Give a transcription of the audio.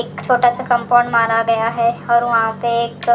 एक छोटा सा कंपाउंड मारा गया है और वहाँ पे एक --